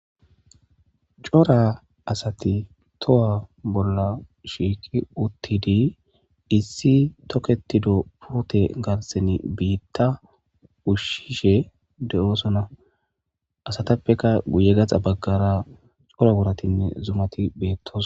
cora asati towa bolla shiikki uttidi issi toketido pote garsen biitta ushshishe de7oosona asatappeka guye gaxa baggara cora wuratinne zumati beettos